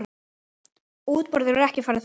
Útboð hefur ekki farið fram.